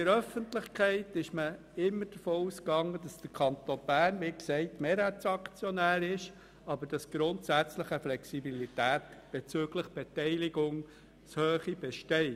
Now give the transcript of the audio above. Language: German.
In der Öffentlichkeit ging man immer davon aus, dass der Kanton Bern Mehrheitsaktionär ist, aber grundsätzlich Flexibilität bezüglich der Beteiligungshöhe besteht.